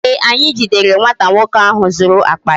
Ee, anyị jidere nwata nwoke ahụ zuru akpa ya